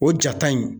O ja ta in